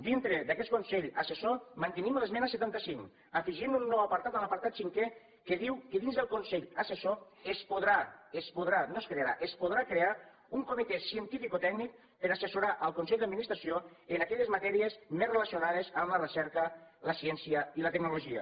dintre d’aquest consell assessor mantenim l’esmena setanta cinc afegint un nou apartat l’apartat cinquè que diu que dins del consell assessor es podrà es podrà no es crearà es podrà crear un comitè cientificotècnic per assessorar el consell d’administració en aquelles matèries més relaciones amb la recerca la ciència i la tecnologia